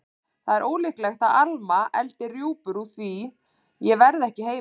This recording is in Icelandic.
Það er ólíklegt að Alma eldi rjúpur úr því ég verð ekki heima.